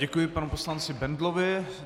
Děkuji panu poslanci Bendlovi.